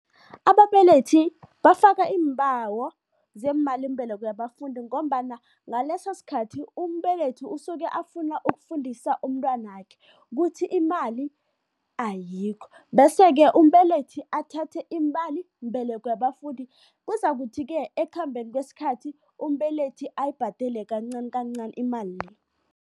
Ababelethi bafaka iimbawo zemalimbeleko yabafundi ngombana ngaleso sikhathi, umbelethi usuke afuna ukufundisa umntwanakhe, kuthi imali ayikho. Bese-ke umbelethi athathe imalimbeleko yabafundi, kuzakuthi-ke ekukhambeni kwesikhathi umbelethi ayibhadele kancani kancani imali le.